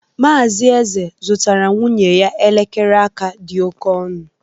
Mazị Eze zụtara nwunye ya elekere aka dị oke ọnụ.